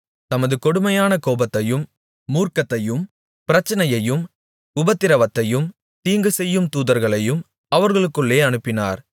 தமது கடுமையான கோபத்தையும் மூர்க்கத்தையும் பிரச்சனையையும் உபத்திரவத்தையும் தீங்குசெய்யும் தூதர்களையும் அவர்களுக்குள்ளே அனுப்பினார்